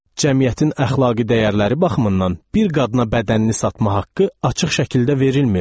Cəmiyyətin əxlaqi dəyərləri baxımından bir qadına bədənini satma haqqı açıq şəkildə verilmir.